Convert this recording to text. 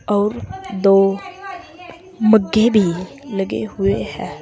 और दो मघ्घे भी लगे हुए हैं।